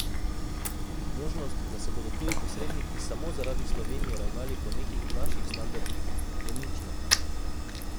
Možnost, da se bodo tuji posredniki samo zaradi Slovenije ravnali po nekih naših standardih, je nična!